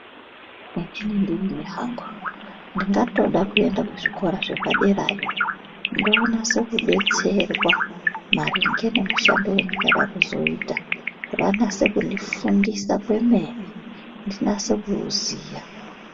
Dai ndeihamba ndingatoda kuende kuzvikora zvepaderayo ndonase kudetserwa maringe nemashandire endingade kuzoita vanase kundifundisa kwemene ndinase kuziya.